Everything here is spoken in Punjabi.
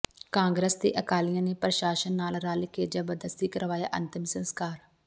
ਕਾਂਗਰਸ ਤੇ ਅਕਾਲੀਆਂ ਨੇ ਪ੍ਰਸ਼ਾਸ਼ਨ ਨਾਲ ਰਲ਼ ਕੇ ਜਬਰਦਸਤੀ ਕਰਵਾਇਆ ਅੰਤਿਮ ਸੰਸਕਾਰ